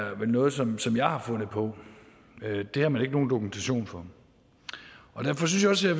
er noget som som jeg har fundet på at det har man ikke nogen dokumentation for derfor synes jeg